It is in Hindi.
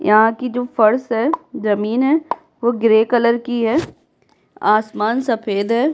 यहाँ की जो फर्श है जमीन है वो ग्रे कलर की है आसमान सफेद है।